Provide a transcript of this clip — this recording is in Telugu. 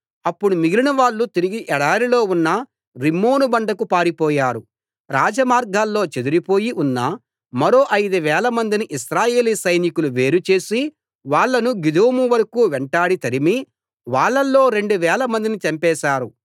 అప్పుడు మిగిలినవాళ్ళు తిరిగి ఎడారిలో ఉన్న రిమ్మోను బండకు పారిపోయారు రాజమార్గాల్లో చెదరిపోయి ఉన్న మరో ఐదు వేలమందిని ఇశ్రాయెలీ సైనికులు వేరు చేసి వాళ్ళను గిదోము వరకూ వెంటాడి తరిమి వాళ్ళలో రెండు వేలమందిని చంపేశారు